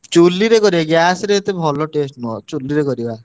ଚୂଲିରେ କରିଆ gas ରେ ଏତେ ଭଲ taste ନୁହଁ। ଚୂଲିରେ କରିବା।